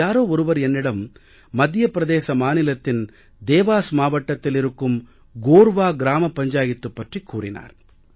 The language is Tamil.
யாரோ ஒருவர் என்னிடம் மத்திய பிரதேச மாநிலத்தின் தேவாஸ் மாவட்டத்தில் இருக்கும் கோர்வா கோர்வா கிராம பஞ்சாயத்து பற்றிக் கூறினார்